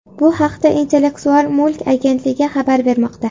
Bu haqda Intellektual mulk agentligi xabar bermoqda .